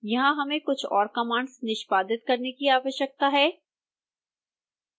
यहां हमें कुछ और कमांड्स निष्पादित करने की आवश्यकता है